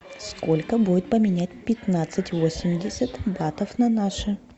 сколько будет поменять пятнадцать восемьдесят батов на наши